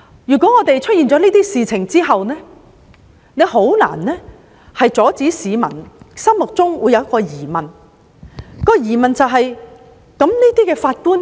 在發生這些事情後，確實難以阻止市民產生疑問，就是當這些法官